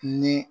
Ni